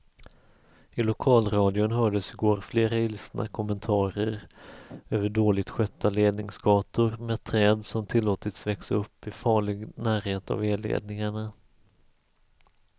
I lokalradion hördes i går flera ilskna kommentarer över dåligt skötta ledningsgator med träd som tillåtits växa upp i farlig närhet av elledningarna.